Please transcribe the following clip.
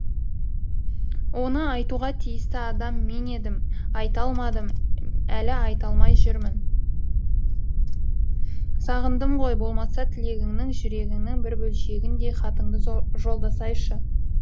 оны айтуға тиісті адам мен едім айта алмадым әлі айта алмай жүрмін сағындым ғой болмаса тілегіңнің жүрегіңнің бір бөлшегіндей хатыңды жолдасайшы